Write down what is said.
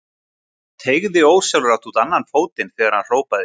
Teygði ósjálfrátt út annan fótinn þegar hann hrópaði.